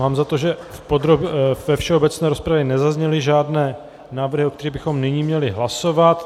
Mám za to, že ve všeobecné rozpravě nezazněly žádné návrhy, o kterých bychom nyní měli hlasovat.